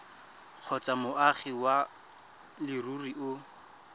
kgotsa moagi wa leruri o